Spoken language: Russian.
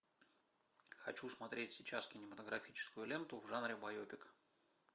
хочу смотреть сейчас кинематографическую ленту в жанре байопик